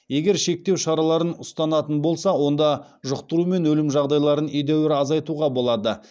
егер шектеу шараларын ұстанатын болса онда жұқтыру мен өлім жағдайларын едәуір азайтуға болады